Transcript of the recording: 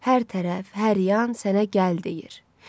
Hər tərəf, hər yan sənə gəl deyir.